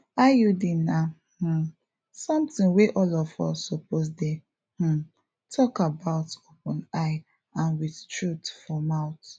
iud na um sometin wey all of us suppose dey um talk about openeye and with truth for mouth